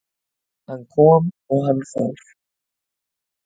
Hann kom og hann fór